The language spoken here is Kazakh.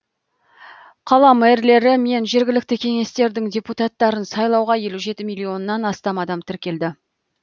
қала мэрлері мен жергілікті кеңестердің депутаттарын сайлауға елу жеті миллионнан астам адам тіркелді